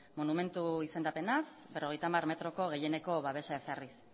monumentu izendapenaz berrogeita hamar metroko gehieneko babesa ezarriz